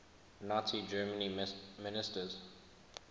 nazi germany ministers